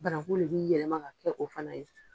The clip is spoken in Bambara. Banakun le bi yɛlɛma ka kɛ o fana ye.